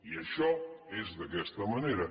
i això és d’aquesta manera